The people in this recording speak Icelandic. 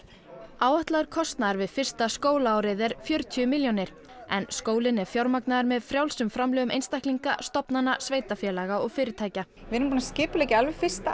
áætlaður kostnaður við fyrsta skólaárið er fjörutíu milljónir en skólinn er fjármagnaður með frjálsum framlögum einstaklinga stofnana sveitarfélaga og fyrirtækja við erum búin að skipuleggja alveg fyrsta